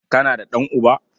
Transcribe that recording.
Kana da ɗan'uba?